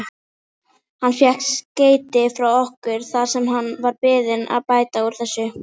Hann fékk skeyti frá okkur þar sem hann var beðinn að bæta úr þessu.